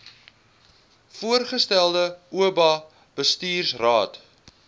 voorgestelde oba bestuursraad